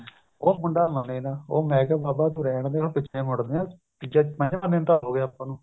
ਉਹ ਮੁੰਡਾ ਮੰਨੇ ਨਾ ਉਹ ਮੈਂ ਕਿਹਾ ਬਾਬਾ ਤੂੰ ਰਹਿਣ ਦੇ ਪਿੱਛੇ ਮੁੜਦੇ ਹਾਂ ਮੈਂ ਕਿਹਾ ਇੰਨੇ ਦਿਨ ਤਾਂ ਹੋਗੇ ਆਪਾਂ ਨੂੰ